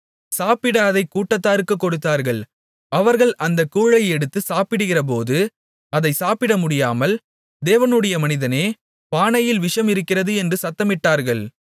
சாப்பிட அதைக் கூட்டத்தாருக்குக் கொடுத்தார்கள் அவர்கள் அந்தக் கூழை எடுத்துச் சாப்பிடுகிறபோது அதைச் சாப்பிடமுடியாமல் தேவனுடைய மனிதனே பானையில் விஷம் இருக்கிறது என்று சத்தமிட்டார்கள்